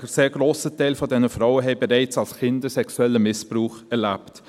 Ein sehr grosser Teil dieser Frauen hat bereits als Kind einen sexuellen Missbrauch erlebt;